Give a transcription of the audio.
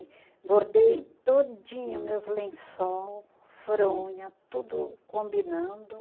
E bordei todinho, meus lençol, fronha, tudo combinando.